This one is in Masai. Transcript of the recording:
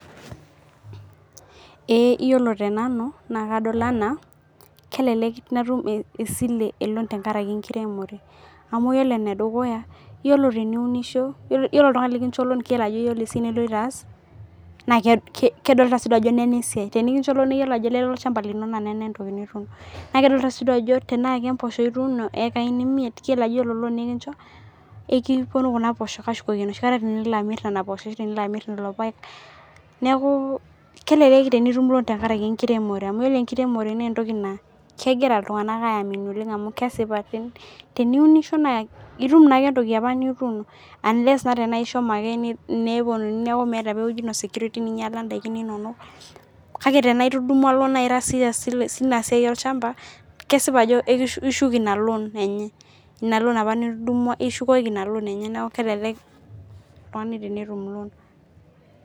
Ee , iyiolo tenanu naa kadol anaa kelelek natum esile eloan tenkaraki enkiremore amu yiolo enedukuya , yiolo teniunisho , yiolo oltungani likincho loan keyiolo ajo keeta esiai niloito aas naa kedolta siiduo ajo nena esiai, tenikincho loaan naa ketodua ajo lele olchamba lino , naa nena entoki nitum naa kedolta sii duo ajo tenaa kemposho ituuno ikai imiet, keyiolo ajo ore loan nikincho ekiponu kuna poshok atushukoki enoshi kata tiniloamir nenaposho ashu teniloamir lelo paek . Neeku kelelek tenitum loan tenkaraki enkiremore amu yiolo enkiremore naa entoki naa kegira iltunganak ayamini oleng amu kesipa, teniunisho naa itum naake entoki apa nituuno unless tenaa ishomo ake neponuni neeku meeta apa ewueji ino security ninyiala ndaikin inono kake tenaa itudumwa loan naa ira serious tinasiai olchamba , kesipa ajo ishuk inaloan enye , inaloan apa nitudumwa, ishukukoki inaloan enye niaku kelelek oltungani tenetum loan .